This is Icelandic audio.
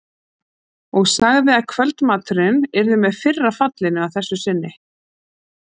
Og sagði að kvöldmaturinn yrði með fyrra fallinu að þessu sinni.